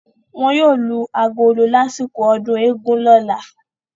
Wọn yóò lu agolo lásìkò ọdún eégún lọ́la.